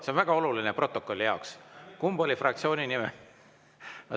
See on väga oluline jaoks, kumb oli fraktsiooni nimel.